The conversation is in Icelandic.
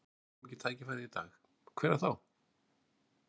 Ef við fáum ekki tækifærið í dag, hvenær þá?